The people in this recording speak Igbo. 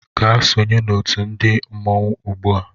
Gaa sonye na otu ndi mmọnwụ ugbu a!